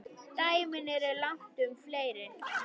Dæmin eru langtum fleiri.